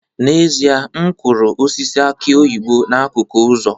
N'ezie, m kụrụ osisi aki oyibo n'akụkụ ụzọ